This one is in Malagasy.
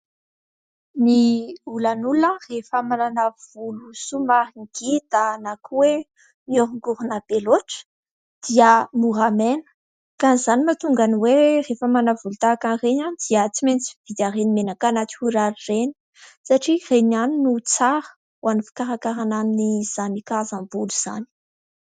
Ny olan'olona rehefa manana volo somary ngita na koa hoe miorongorona be loatra, dia mora maina ka izany no mahatonga ny hoe rehefa manana volo tahakan'ireny dia tsy maintsy mividy an'ireny menaka natoraly ireny satria ireny ihany no tsara ho an'ny fikarakarana an'izany karazam-bolo izany.